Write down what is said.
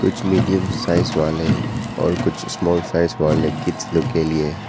कुछ medium size वाले हैं और कुछ स्मॉल साइज वाले किड्स लोग के लिए--